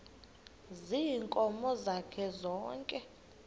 ziinkomo zakhe zonke